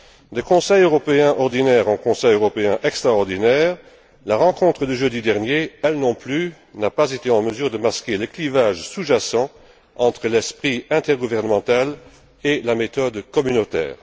De Conseil européen ordinaire en Conseil européen extraordinaire, la rencontre de jeudi dernier n'a pas été, elle non plus, en mesure de masquer le clivage sous jacent entre l'esprit intergouvernemental et la méthode communautaire.